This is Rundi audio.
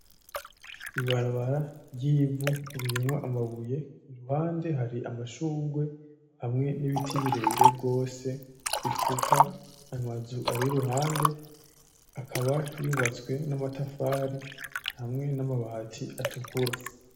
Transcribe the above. Ibarabara ry'ivu ririmwo amabuye, impande hari amashurwe hamwe n'ibiti birebire gose bifuka amazu ari iruhande. Akaba yubatswe n'amatafari hamwe n'amabati atukura.